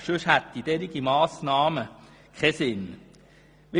Andernfalls würde eine solche Massnahme keinen Sinn machen.